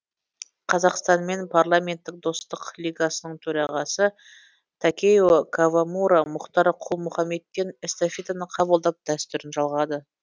қазақстанмен парламенттік достық лигасының төрағасы такео кавамура мұхтар құл мұхаммедтен эстафетаны қабылдап дәстүрін жалғады